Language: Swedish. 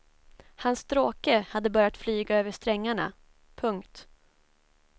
Hans stråke hade börjat flyga över strängarna. punkt